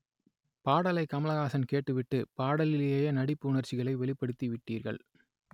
பாடலை கமல்ஹாசன் கேட்டுவிட்டு பாடலிலேயே நடிப்பு உணர்ச்சிகளை வெளிப்படுத்தி விட்டீர்கள்